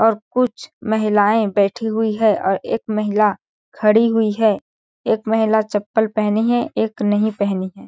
और कुछ महिलाएं बैठी हुई है और एक महिला खड़ी हुई है एक महिला चप्पल पहनी है एक नहीं पहनी है।